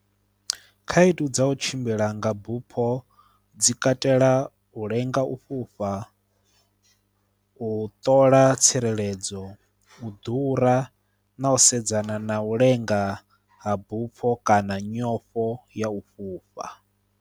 Khaedu dza u tshimbila nga bupho dzi katela u lenga u fhufha, u ṱola tsireledzo, u ḓura na u sedzana na u lenga ha bupho kana nyofho ya u fhufha.